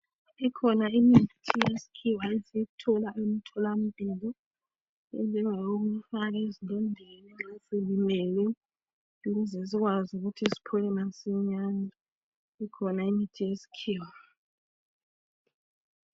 Ikhona imithi yesikhiwa esiyithola emtholampilo. Enjengeyokufaka ezilondeni, nxa silimele. Ukuze sikwazi ukuthi siphole masinyane. Ikhona imithi yesikhiwa.